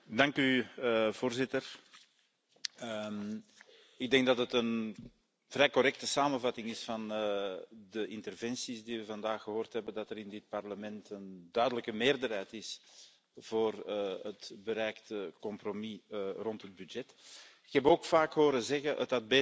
Voorzitter, ik denk dat het een vrij correcte samenvatting is van de interventies die we vandaag gehoord hebben dat er in dit Parlement een duidelijke meerderheid is voor het bereikte compromis over de begroting. Ik heb ook vaak horen zeggen Het had beter gekund,